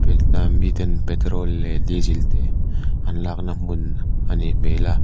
miten petrol leh diesel te an lakna hmun a nih hmel a.